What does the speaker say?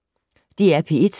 DR P1